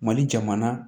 Mali jamana